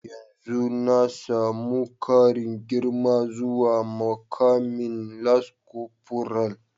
Yanzu na samu karin girma zuwa mukamin lance korfural.